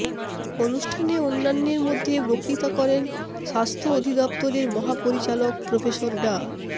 অনুষ্ঠানে অন্যান্যের মধ্যে বক্তৃতা করেন স্বাস্থ্য অধিদফতরের মহাপরিচালক প্রফেসর ডা